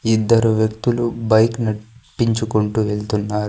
ఇద్దరు వ్యక్తులు బైక్ నడ్పించుకుంటూ వెళ్తున్నారు.